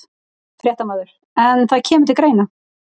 Fréttamaður: En það kemur til greina?